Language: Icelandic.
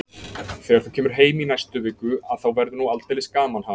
Þegar þú kemur heim í næstu viku að þá verður nú aldeilis gaman, ha?